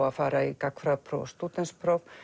að fara í gagnfræðapróf og stúdentspróf